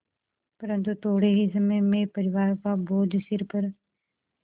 परन्तु थोडे़ ही समय में परिवार का बोझ सिर पर